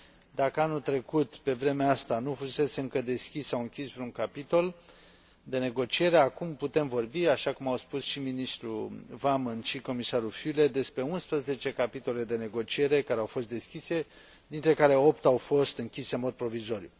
Dacă anul trecut pe vremea asta nu fusese încă deschis sau închis vreun capitol de negociere, acum putem vorbi, așa cum au spus și ministrul Wammen, și comisarul Füle, despre unsprezece capitole de negociere care au fost deschise, dintre care opt au fost închise în mod provizoriu.